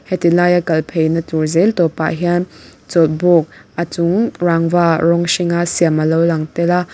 heti laia kal pheina tur zel tawp ah hian chawlhbuk a chung rangva rawng hringa siam alo lang tel a--